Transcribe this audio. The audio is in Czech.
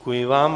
Děkuji vám.